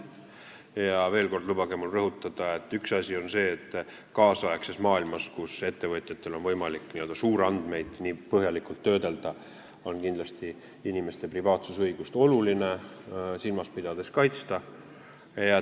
Lubage mul veel kord rõhutada, et üks asi on see, et tänapäeva maailmas, kus ettevõtjatel on võimalik n-ö suurandmeid põhjalikult töödelda, on inimeste privaatsusõigust oluline silmas pidada ja kaitsta.